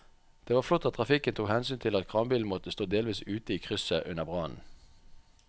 Det var flott at trafikken tok hensyn til at kranbilen måtte stå delvis ute i krysset under brannen.